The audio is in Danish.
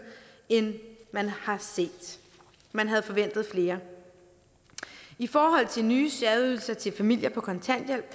end man har set man havde forventet flere i forhold til nye særydelser til familier på kontanthjælp